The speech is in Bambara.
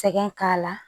Sɛgɛn k'a la